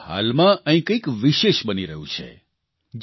પરંતુ હાલમાં અહીં કંઇક વિશેષ બની રહ્યું છે